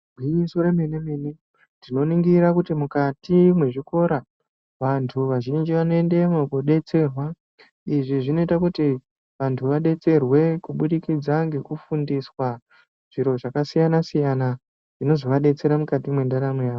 Igwinyiso re mene mene tino ningira kuti mukati mwe zvikora vantu vazhinji vano endemo ko detserwa izvi zvinoita kuti vanttu vadetserwe kubudikidza ngeku fundiswa zviro zvaka siyana siyana zvinozova detsera mukati me ndaramo yavo.